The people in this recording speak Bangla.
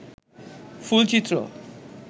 ফুল চিত্র